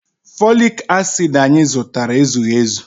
Folic acid anyị zụtara ezughị ezu.